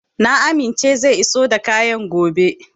Na amince zai iso da kayan gobe.